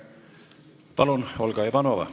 Palun, Olga Ivanova!